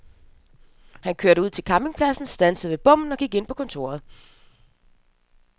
Han kørte ud til campingpladsen, standsede ved bommen og gik ind på kontoret.